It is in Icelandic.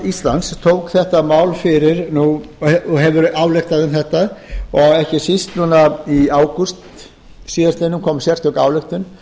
íslands tók þetta mál fyrir og hefur ályktað um þetta og ekki síst núna í ágúst síðastliðnum kom sérstök ályktun